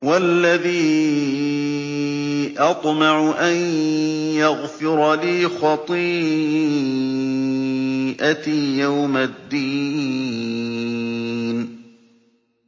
وَالَّذِي أَطْمَعُ أَن يَغْفِرَ لِي خَطِيئَتِي يَوْمَ الدِّينِ